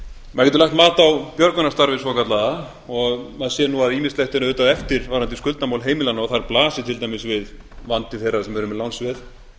maður getur lagt mat á björgunarstarfið svokallaða og maður sér nú að ýmislegt er auðvitað eftir varðandi skuldamál heimilanna og þar blasir til dæmis við vandi þeirra sem eru með lánsveð